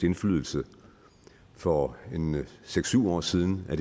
indflydelse for seks syv år siden